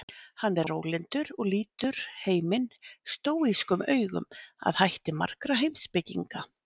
Hann er rólyndur og lítur heiminn stóískum augum að hætti margra heimspekinga.